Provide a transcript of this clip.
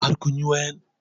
Har kun yi wayan?